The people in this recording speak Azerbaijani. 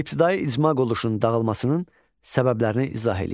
İbtidai icma qoluşunun dağılmasının səbəblərini izah eləyin.